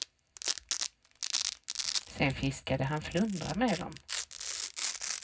Sen fiskade han flundra med dem.